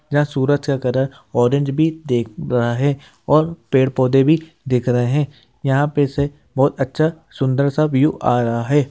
जहां सूरज का कलर है ऑरेंज भी देख रहा है और पेड़-पौधे भी दिख रहे है यहां पे से बहुत अच्छा सुन्दर सा व्यू आ रहा है।